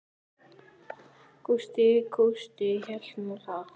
Gústi kústi hélt nú það.